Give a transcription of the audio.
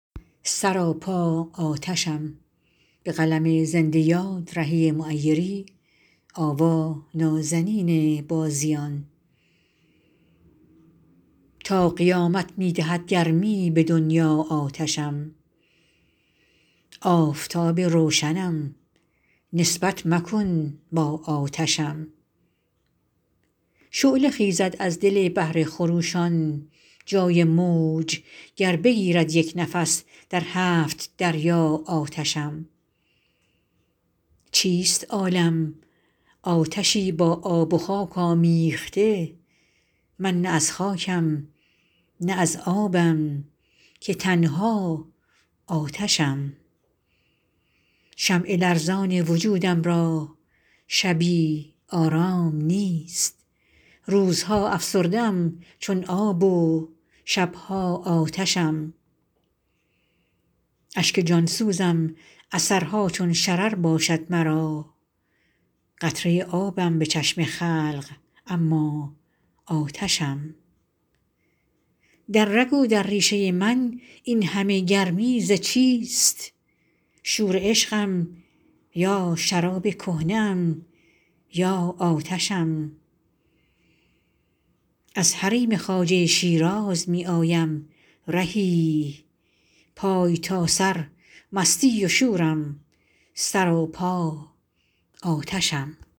تا قیامت می دهد گرمی به دنیا آتشم آفتاب روشنم نسبت مکن با آتشم شعله خیزد از دل بحر خروشان جای موج گر بگیرد یک نفس در هفت دریا آتشم چیست عالم آتشی با آب و خاک آمیخته من نه از خاکم نه از آبم که تنها آتشم شمع لرزان وجودم را شبی آرام نیست روزها افسرده ام چون آب و شب ها آتشم اشک جان سوزم اثرها چون شرر باشد مرا قطره آبم به چشم خلق اما آتشم در رگ و در ریشه من این همه گرمی ز چیست شور عشقم یا شراب کهنه ام یا آتشم از حریم خواجه شیراز می آیم رهی پای تا سر مستی و شورم سراپا آتشم